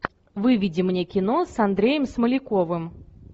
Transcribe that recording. выведи мне кино с андреем смоляковым